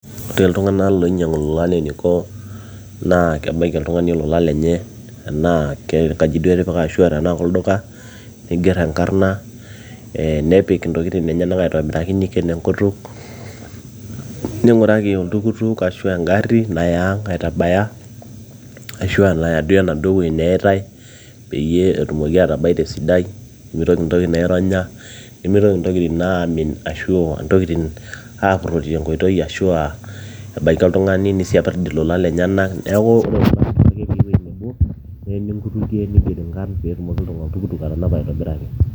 te iltung'anak loinyiang'u ilolan eniko naa kebaiki oltung'ani olola lenye enaa kengaji duo etipika ashua enaa kolduka nigerr enkarrna nepik intokitin enyenak aitobiraki niken enkutuk ning'uraki oltukutuk ashu engarri naya ang aitabaya ashua naya duo enaduo wueji neyaitai peyie etumoki atabai tesidai pimitoki intokitin aironya nimitoki intokitin amin ashu ntokitin apurrori tenkoitoi ashua ebaiki oltung'ani nisiapirrd ilolan lenyenak neeku ore ilolan kifaa petii ewueji nebo neyeni inkutukie niger inkarrn peetumoki oltukutuk atanapa aitobiraki.